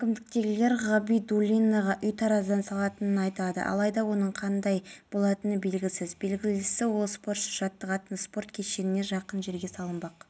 еске салайық кеше таңғы шамасында шымкент мұнай өнімдері қоймасынан өрт шығып бір жұмысшы қаза тапқан еді